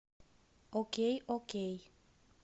окей окей